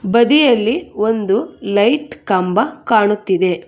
ಬದಿಯಲ್ಲಿ ಒಂದು ಲೈಟ್ ಕಂಬ ಕಾಣುತ್ತಿದೆ.